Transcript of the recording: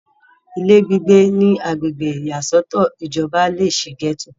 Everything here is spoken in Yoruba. ìná gbígbé ní agbègbè ìyàsọ́tọ̀ ìjọba lé e sí gẹ́tò